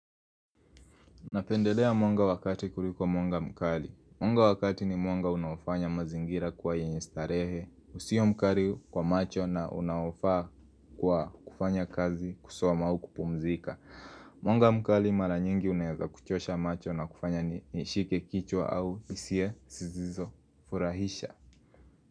Napendelea mwonga wakati kuliko mwonga mkali. Mwonga wakati ni mwonga unaofanya mazingira kwa yenye starehe. Usio mkali kwa macho na unaofa kwa kufanya kazi kusoma au kupumzika. Mwonga mkali mara nyingi unayaza kuchosha macho na kufanya ni shike kichwa au isie sizizo furahisha.